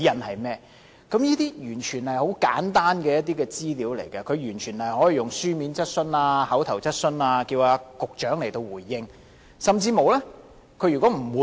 這些全部都是很簡單的資料，梁議員可以書面質詢或口頭質詢的形式要求保安局局長回應。